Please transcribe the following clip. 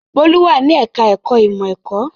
Bólú wà ní ẹ̀ka-ẹ̀kọ́ ìmọ̀-ẹ̀kọ́.